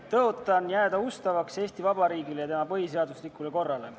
Tõotan jääda ustavaks Eesti Vabariigile ja tema põhiseaduslikule korrale.